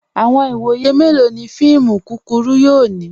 Awọn iwọye melọ ni fíìmù kúkúrù yóò ni?